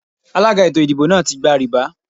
Alága ètò ìdìbò náà ti gba rìbá.